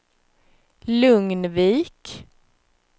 Lugnvik